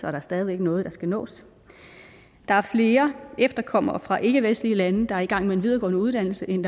er stadig væk noget der skal nås der er flere efterkommere fra ikkevestlige lande der er i gang med en videregående uddannelse end